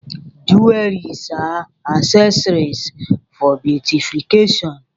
Jewelries are accessories for beautification.